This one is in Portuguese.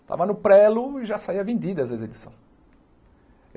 Estava no prelo e já saía vendida, às vezes, a edição.